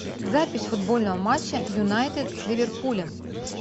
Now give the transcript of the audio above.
запись футбольного матча юнайтед с ливерпулем